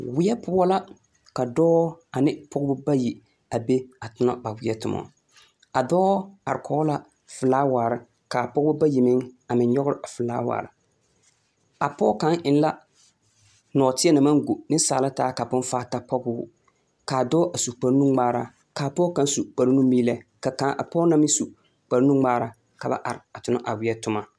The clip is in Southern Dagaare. weɛ poɔ la ka dɔɔ ane pɔgeba bayi a be atona ba weɛ toma a dɔɔ are kɔge la felaaware ka a pɔgeba bayi meŋ a meŋ nyɔgere felaaware. A pɔge ka eŋla nɔɔteɛ na maŋ go nensaala ta ka bonfaa ta npɔge o. ka dɔɔ su kpare nuŋmaara, ka apɔge kaŋ su kpare numeelɛ. Ka kaŋa, a pɔge na meŋ su kpare nuŋmaara ka ba are atona a weɛ toma.